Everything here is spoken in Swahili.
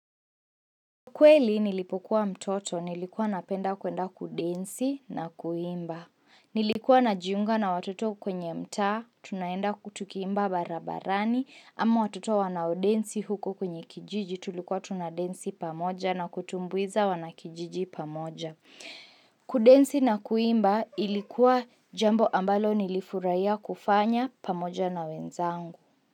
Kweli nilipokuwa mtoto, nilikuwa napenda kuenda kudensi na kuimba. Nilikuwa na jiunga na watoto kwenye mtaa, tunaenda huku tukiimbaa barabarani, ama watoto wanaodensi huko kwenye kijiji, tulikuwa tunadensi pamoja na kutumbuiza wanakijiji pamoja. Kudensi na kuimba ilikuwa jambo ambalo nilifurahia kufanya pamoja na wenzangu.